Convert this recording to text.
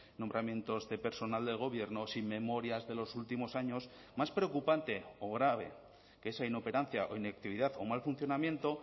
nombramientos de personal del gobierno sin memorias de los últimos años más preocupante o grave que esa inoperancia o inactividad o mal funcionamiento